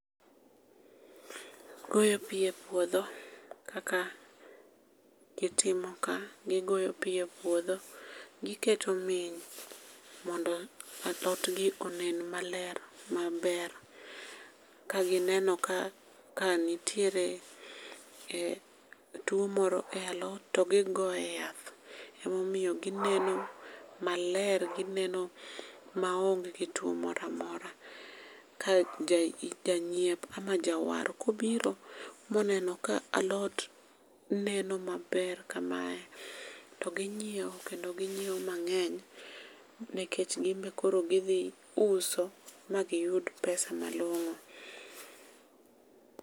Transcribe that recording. Goyo pi epuodho kaka gitimo ka, gigoyo pi e puodho. Giketo miny mondo alotgi onen maler maber. Ka gineno ka ka nitiere tuo moro e alot to gigoye yath. Emomiyo gineno maler gineno maonge gi tuo moro amora. Ka janyiew [cs6ama jawar ka obiro ma oneno ka alot neno maber kamae to ginyiewo kendo ginyiewo mang'eny nikech gin bende koro gidhi uso magiyud pesa malong'o.